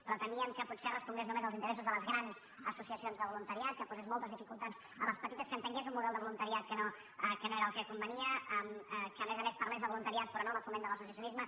però temíem que potser respongués només als interessos de les grans associacions de voluntariat que posés moltes dificultats a les petites que entengués un model de voluntariat que no era el que convenia que a més a més parlés de voluntariat però no de foment de l’associacionisme